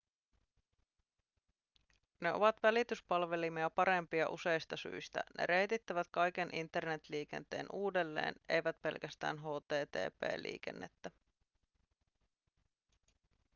ne ovat välityspalvelimia parempia useista syistä ne reitittävät kaiken internet-liikenteen uudelleen eivät pelkästään http-liikennettä